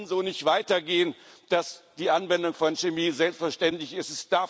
Es kann so nicht weitergehen, dass die Anwendung von Chemie selbstverständlich ist.